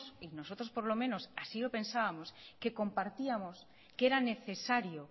nosotros por lo menos es que yo pensábamos que compartíamos que era necesario